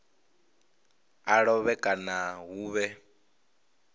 a lovhe kana hu vhe